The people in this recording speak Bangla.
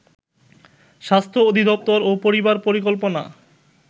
স্বাস্থ্য অধিদপ্তর ও পরিবার পরিকল্পনা